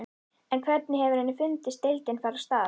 En hvernig hefur henni fundist deildin fara af stað?